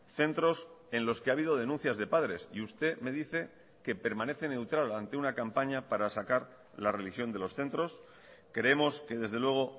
centros en los que ha habido denuncias de padres y usted me dice que permanece neutral ante una campaña para sacar la religión de los centros creemos que desde luego